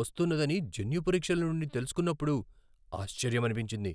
వస్తున్నదని జన్యు పరీక్షల నుండి తెలుసుకున్నప్పుడు ఆశ్చర్యమనిపించింది.